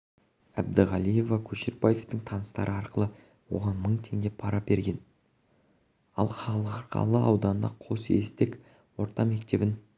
әбдіғалиева көшербаевтың таныстары арқылы оған мың теңге пара берген ал қарғалы ауданының қосестек орта мектебін